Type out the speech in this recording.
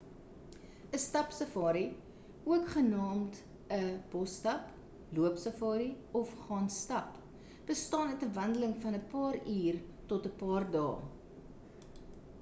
‘n stapsafari ook genaamd ‘n bosstap” loopsafari” of gaan stap” bestaan uit ‘n wandeling van ‘n paar uur tot ‘n paar dae